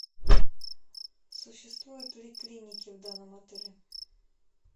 существуют ли клиники в данном отеле